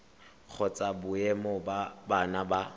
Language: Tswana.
kgotsa boemo ba bona ba